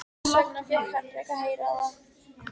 Þess vegna fékk Henrik að heyra það.